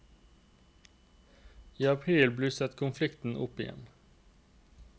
I april blusset konflikten opp igjen.